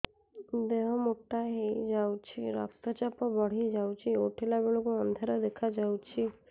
ଦେହ ମୋଟା ହେଇଯାଉଛି ରକ୍ତ ଚାପ ବଢ଼ି ଯାଉଛି ଉଠିଲା ବେଳକୁ ଅନ୍ଧାର ଦେଖା ଯାଉଛି